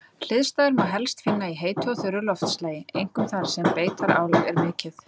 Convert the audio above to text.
Hliðstæður má helst finna í heitu og þurru loftslagi, einkum þar sem beitarálag er mikið.